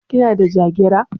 Kina da Jagira?